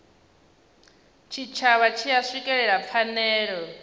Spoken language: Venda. tshitshavha tshi a swikelela phanele